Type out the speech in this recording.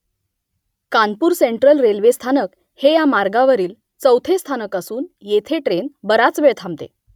Kanpur central railway स्थानक हे या मार्गावरील चौथे स्थानक असून येथे ट्रेन बराच वेळ थांबते